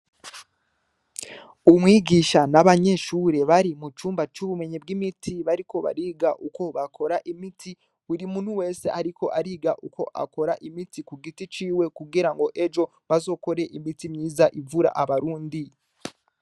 Umwigisha n'abanyeshure bari mu cumba c'ubumenyi bw'imiti bariko bariga uko bakora imiti buri muntu wese ariko ariga uko akora imiti ku giti ciwe, kugira ngo ejo bazokore imiti myiza ivura abarundi.